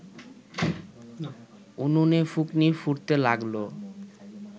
উনুনে ফুঁকনি ফুঁকতে লাগল